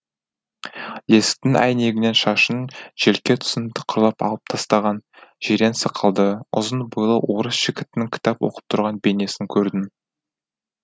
есіктің әйнегінен шашының желке тұсын тықырлап алып тастаған жирен сақалды ұзын бойлы орыс жігіттің кітап оқып тұрған бейнесін көрдім